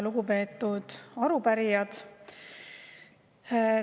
Lugupeetud arupärijad!